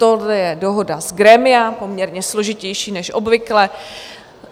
Tohle je dohoda z grémia, poměrně složitější než obvykle.